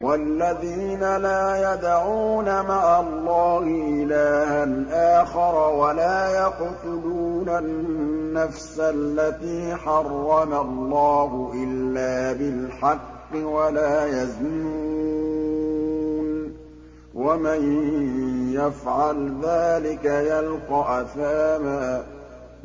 وَالَّذِينَ لَا يَدْعُونَ مَعَ اللَّهِ إِلَٰهًا آخَرَ وَلَا يَقْتُلُونَ النَّفْسَ الَّتِي حَرَّمَ اللَّهُ إِلَّا بِالْحَقِّ وَلَا يَزْنُونَ ۚ وَمَن يَفْعَلْ ذَٰلِكَ يَلْقَ أَثَامًا